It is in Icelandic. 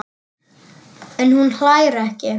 En hún hlær ekki.